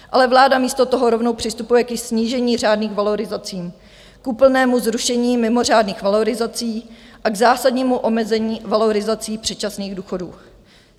Ale vláda místo toho rovnou přistupuje ke snížení řádných valorizací, k úplnému zrušení mimořádných valorizací a k zásadnímu omezení valorizací předčasných důchodů.